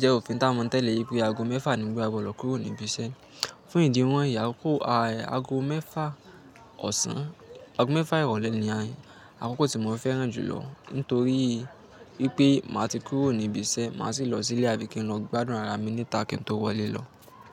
jẹ́ òfin táa mo tẹ̀lé wípé aago mẹ́fà ni gbo ọlọ́ kúrò níbi iṣẹ́. Fún ìdí wọ́n yíì ako aago mẹ́fà ọ̀sán, aago mẹ́fà ìrọ̀lẹ́ ni àkókò tí mo fẹ́ràn jùlọ. Nítorí wípé màá ti kúrò níbi iṣẹ́, màá sì lọ sílé bíi kí n lọ gbádùn ara mi ni ta kí n tó wọlé lọ.